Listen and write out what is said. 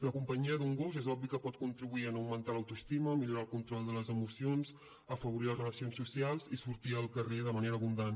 la companyia d’un gos és obvi que pot contribuir en augmentar l’autoestima millorar el control de les emocions afavorir les relacions socials i sortir al carrer de manera abundant